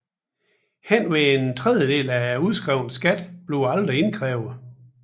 Henved en tredjedel af udskrevet skat bliver aldrig indkrævet